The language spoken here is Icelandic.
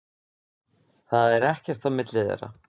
Það er ekkert á milli þeirra.